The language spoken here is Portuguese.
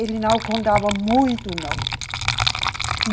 Eles não contavam muito, não.